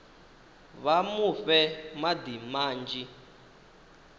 vha mu fhe madi manzhi